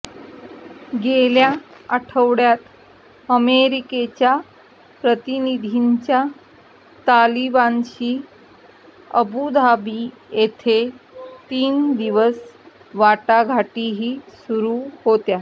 गेल्या आठवड्यात अमेरिकेच्या प्रतिनिधींच्या तालिबानशी अबुधाबी येथे तीन दिवस वाटाघाटीही सुरु होत्या